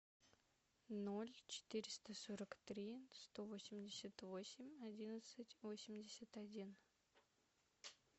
ноль четыреста сорок три сто восемьдесят восемь одиннадцать восемьдесят один